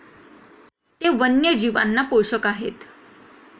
ते वन्यजीवांना पोषक आहेत.